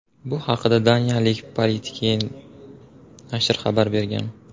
Bu haqda Daniyaning Politiken nashri xabar bergan .